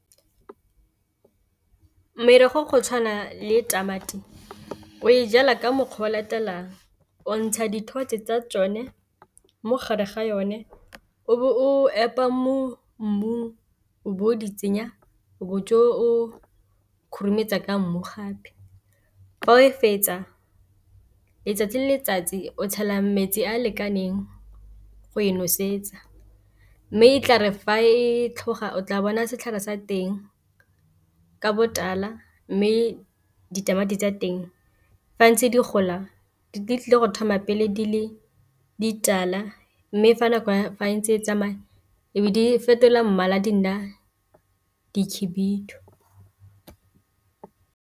Merogo go tshwana le tamati o e jalwa ka mokgwa o o latelang o ntsha dithotse tsa tsone mogare ga yone o be o epa mo mmung, o bo o di tsenya o bo o tswa o khurumetsa ka mmu gape, fa o e fetsa letsatsi le letsatsi o tshela metsi a a lekaneng go e nosetsa, mme e tla re fa e tlhoga o tla bona setlhare sa teng ka botala mme ditamati tsa teng fa ntse di gola di tlile go thoma pele di le ditala mme fa nako entse e tsamaya e be di fetola mmala di nna di khubidu.